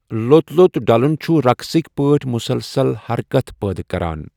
لوٚت لوٚت ڈلن چھ رقصکۍ پٲٹھۍ مُسلسل حرکت پٲدٕ کران۔